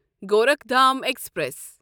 Gorakhdham express